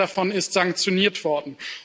Nicht einer davon ist sanktioniert worden.